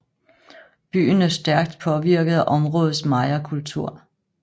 Byen er stærkt påvirket af områdets mayakultur